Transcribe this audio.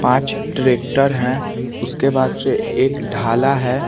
पांच ट्रैक्टर है। उसके बाद से एक डाला है।